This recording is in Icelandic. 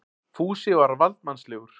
Fúsi var valdsmannslegur.